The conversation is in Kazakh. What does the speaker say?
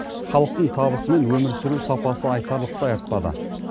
халықтың табысы мен өмір сүру сапасы айтарлықтай артпады